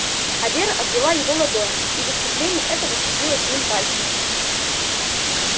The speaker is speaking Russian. а вера отвела его ладонь и в искупление этого сцепилась с ним пальцами